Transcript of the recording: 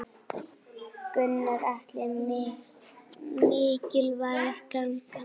Gunnar Atli: Mikilvæg gangan?